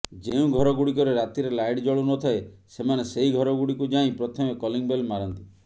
ଯେଉଁ ଘରଗୁଡ଼ିକରେ ରାତିରେ ଲାଇଟ୍ ଜଳୁ ନଥାଏ ସେମାନେ ସେହି ଘରଗୁଡ଼ିକୁ ଯାଇ ପ୍ରଥମେ କଲିଂ ବେଲ୍ ମାରନ୍ତି